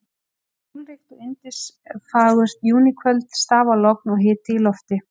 Það var sólríkt og yndisfagurt júníkvöld, stafalogn og hiti í lofti.